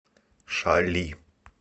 шали